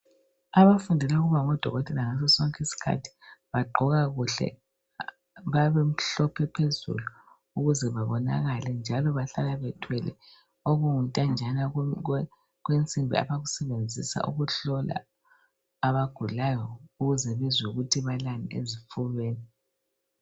Abafundela ukuba ngodokotela ngasosonke isikhathi bagqoka kuhle. Bayabe bemhlophe phezulu ukuze babonakale njalo bahlala bethwele okuyintanjana kwensimbi abakusebenzisa ukuhlola abagulayo ukuze bezwe ukuthi balani ezifubeni.